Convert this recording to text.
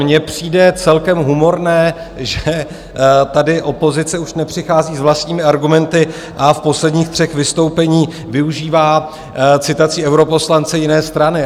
Mně přijde celkem humorné, že tady opozice už nepřichází s vlastními argumenty a v posledních třech vystoupeních využívá citaci europoslance jiné strany.